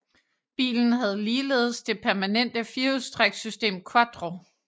Bilen havde ligeledes det permanente firehjulstræksystem quattro